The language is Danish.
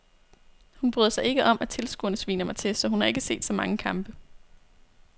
Hun bryder sig ikke om at tilskuerne sviner mig til, så hun har ikke set så mange kampe.